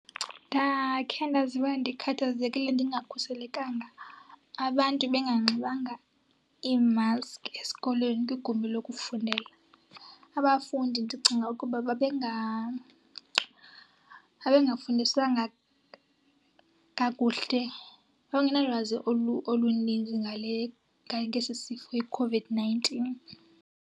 Ndakhe ndaziva ndikhathazekile ndingakhuselekanga, abantu benganxibanga iimaski esikolweni kwigumbi lokufundela. Abafundi ndicinga ukuba babengafundiswanga kakuhle, babengenalwazi oluninzi ngale, ngesi sifo iCOVID-nineteen.